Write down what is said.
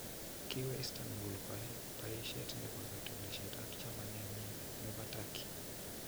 Kiwee Istanbul koyai bayisyeet nebo katunisyeet ak chamanenyin nebo Turkey.